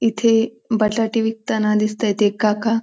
इथे बटाटे विकताना दिसतायेत एक काका.